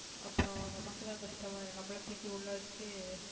அப்புறம் நமக்குதான் கஷ்டமாயிரும் நம்மளை தூக்கி உள்ள வச்சு